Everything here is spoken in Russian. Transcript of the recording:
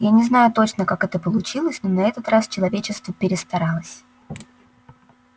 я не знаю точно как это получилось но на этот раз человечество перестаралось